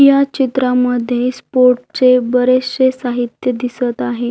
या चित्रा मध्ये स्पोर्ट चे बरेच शे साहित्य दिसत आहे.